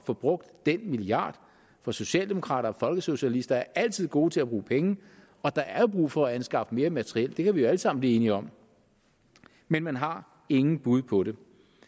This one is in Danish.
få brugt den milliard for socialdemokrater og folkesocialister er altid gode til at bruge penge der er jo brug for at anskaffe mere materiel det kan vi alle sammen blive enige om men man har ingen bud på det